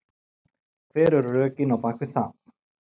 Hver eru rökin á bakvið það?